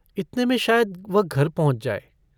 इतने में शायद वह घर पहुँच जायँ।